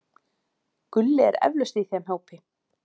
Gulli er eflaust í þeim hópi.